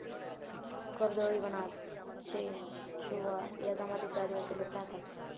कर्दळीवनात चेनचुआ या जमातीचे अदिवासी लोक राहतात.